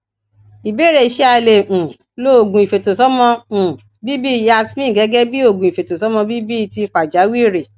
ìbéèrè ṣé a lè um lo oogun ifetosomo um bibi yasmin gẹgẹ bí oògùn ifetosomo bibi ti pajawiri